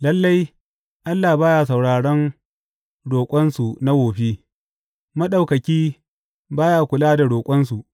Lalle Allah ba ya sauraron roƙonsu na wofi; Maɗaukaki ba ya kula da roƙonsu.